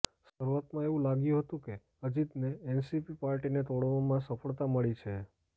શરૂઆતમાં એવું લાગ્યું હતું કે અજિતને એનસીપી પાર્ટીને તોડવામાં સફળતા મળી છે